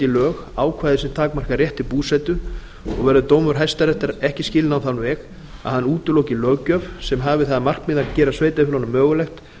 lög ákvæði sem takmarka rétt til búsetu og verður dómur hæstaréttar ekki skilinn á þann veg að hann útiloki löggjöf sem hafi það að markmiði að gera sveitarfélögunum mögulegt